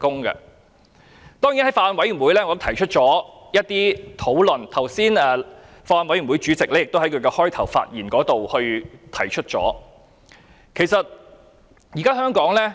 我曾在法案委員會提出一些論點，剛才法案委員會主席發言時也提到相關事項。